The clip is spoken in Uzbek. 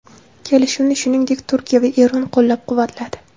Kelishuvni, shuningdek, Turkiya va Eron qo‘llab-quvvatladi.